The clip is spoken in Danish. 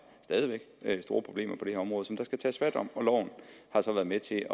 store problemer på det her område som der skal tages fat om og loven har så været med til